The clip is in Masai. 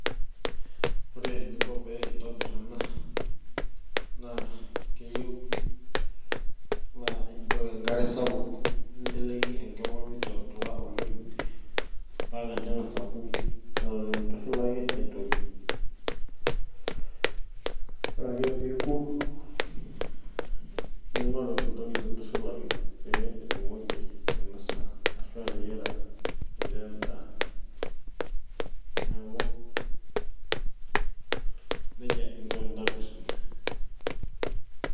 ore eninko pee intobir ena, naa keyieu naa ipik enkare sapuk, ninteleki enkima mitootuaa oleng. mpaka nengas aku etitu intushulaki aitoki. ore ake pe eku ningoru entoki nintushulaki pee itumoki ainosa, ashu ateyiara, ainosa etaa edaa. neeku nejia inko enintobir ina.